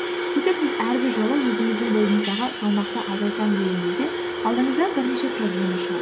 сөйтіп сіз әрбір жолы өзіңіздің бойыңыздағы салмақты азайтамын деген кезде алдыңыздан бірнеше проблема шығады